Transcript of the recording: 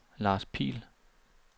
Lars Pihl